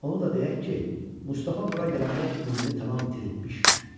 Onu da deyək ki, Mustafa bura gələndə ümidini tamam itiribmiş.